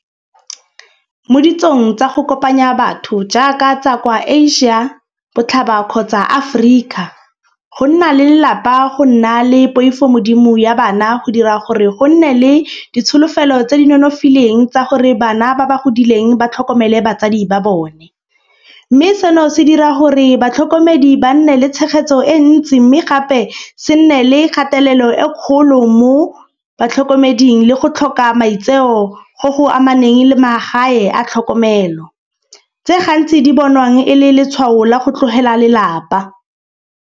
Mo ditsong tsa go kopanya batho jaaka tsa kwa Asia, botlhaba kgotsa Aforika. Go nna le lelapa go nna le poifogodimo ya bana go dira gore go nne le ditsholofelo tse di nonofileng tsa gore bana ba ba godileng ba tlhokomele batsadi ba bone. Mme seno se dira gore batlhokomedi ba nne le tshegetso e ntsi. Mme gape se nne le kgatelelo e kgolo mo batlhokomeding le go tlhoka maitseo go go amaneng le magae a tlhokomelo. Tse gantsi di bonwang e le letshwao la go tlogela lelapa.